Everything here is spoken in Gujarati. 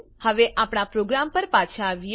હવે આપણા પ્રોગ્રામ પર પાછા આવીએ